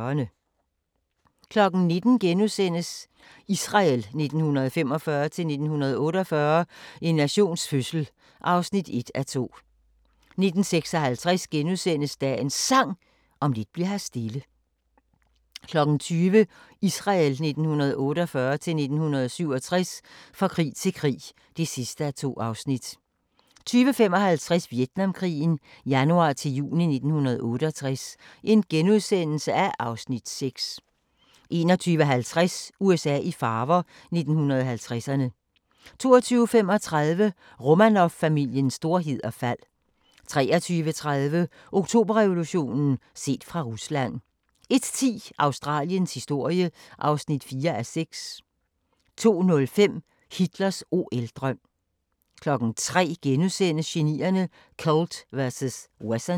19:00: Israel 1945-1948 – en nations fødsel (1:2)* 19:56: Dagens Sang: Om lidt bli'r her stille * 20:00: Israel 1948-1967 – fra krig til krig (2:2) 20:55: Vietnamkrigen januar-juni 1968 (Afs. 6)* 21:50: USA i farver – 1950'erne 22:35: Romanovfamiliens storhed og fald 23:30: Oktoberrevolutionen – set fra Rusland 01:10: Australiens historie (4:6) 02:05: Hitlers OL-drøm 03:00: Genierne: Colt vs. Wesson *